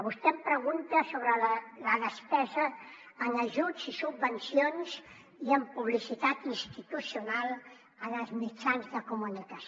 vostè em pregunta sobre la despesa en ajuts i subvencions i en publicitat institucional en els mitjans de comunicació